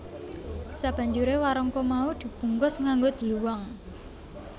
Sabanjuré warangka mau di bungkus nganggo dluwang